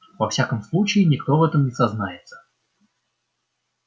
во всяком случае никто в этом не сознается